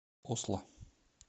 осло